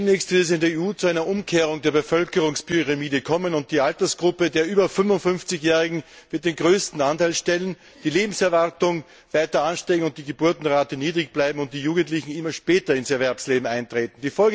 Demnächst wird es in der EU zu einer Umkehrung der Bevölkerungspyramide kommen, und die Altersgruppe der über 55 jährigen wird den größten Anteil stellen, die Lebenserwartung wird weiter ansteigen und die Geburtenrate niedrig bleiben, und die Jugendlichen werden immer später ins Erwerbsleben eintreten.